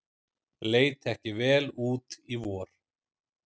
Leit ekki vel út í vor